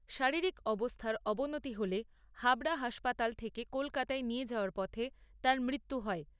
শারীরিক অবস্থার অবনতি হলে হাবড়া হাসপাতাল থেকে কলকাতায় নিয়ে যাওয়ার পথে তাঁর মৃত্যু হয়।